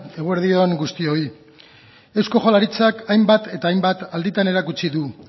eguerdi on guztioi eusko jaurlaritzak hainbat eta hainbat alditan erakutsi du